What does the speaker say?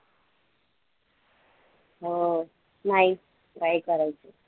अं नाही try करायचेत